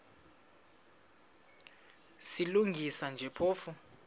silungisa nje phofu